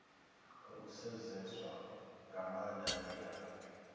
khou sedzeswa nga maanda ndila